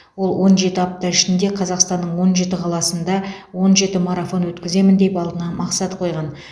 ол он жеті апта ішінде қазақстанның он жеті қаласында он жеті марафон өткіземін деп алдына мақсат қойған